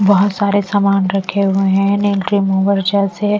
बहुत सारे सामान रखे हुए हैं नेल रिमूवर जैसे--